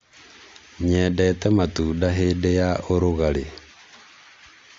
nyendete matunda hĩndĩ ya ũrũgarĩ